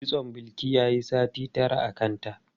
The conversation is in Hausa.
Kitson Bilki yayi sati tara a kanta.